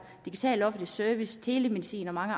digital offentlig service telemedicin og meget